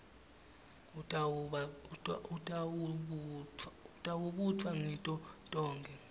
utawubutfwa ngito tonkhe